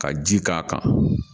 Ka ji k'a kan